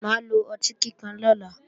Mà á lo ọtí kíkan lọ́la